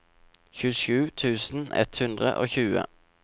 tjuesju tusen ett hundre og tjue